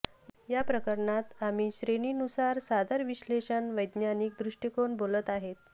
या प्रकरणात आम्ही श्रेणीनुसार सादर विश्लेषण वैज्ञानिक दृष्टिकोन बोलत आहेत